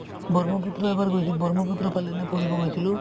ব্ৰহ্মপুত্ৰ এবাৰ গৈছো ব্ৰহ্মপুত্ৰৰ ফালে এনে ফুৰিব গৈছিলো